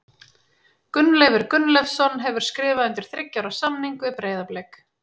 Gunnleifur Gunnleifsson hefur skrifað undir þriggja ára samning við Breiðablik.